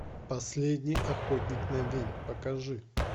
последний охотник на ведьм покажи